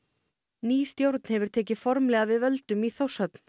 ný stjórn hefur tekið formlega við völdum í Þórshöfn